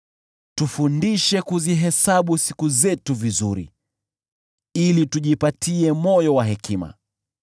Tufundishe kuzihesabu siku zetu vizuri, ili tujipatie moyo wa hekima.